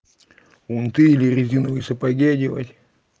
унты или резиновые сапоги одевать